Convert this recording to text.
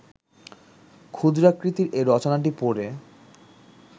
ক্ষুদ্রাকৃতির এ রচনাটি পড়ে